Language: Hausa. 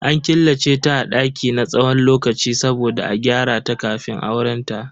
An killace ta a daki na tsawon lokaci saboda a gyarata kafin aurenta.